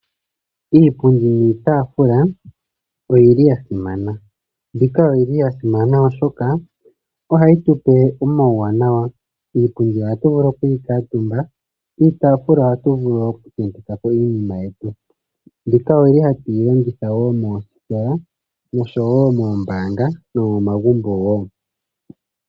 Iipundi niitaafula oyili ya simana. Mbika oyili ya simana oshoka ohayi tu pe omawuwanawa. Iipundi ohatu vulu oku yi kuutumba, iitaafula ohatu vulu oku tenteka ko iinima yetu. Mbika oyili hatu yi longitha woo moositola nosho woo moombaanga nomomagumbo.